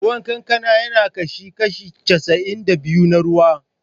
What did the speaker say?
Ruwan kankana ya ƙunshi kashi casa'in da biyu na ruwa.